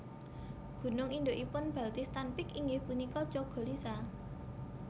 Gunung indukipun Baltistan Peak inggih punika Chogolisa